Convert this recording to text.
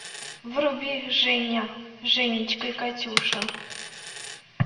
вруби женя женечка и катюша